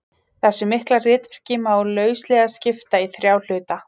Þessu mikla ritverki má lauslega skipta í þrjá hluta.